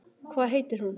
Hvað heitir hún?